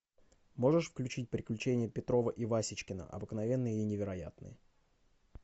можешь включить приключения петрова и васечкина обыкновенные и невероятные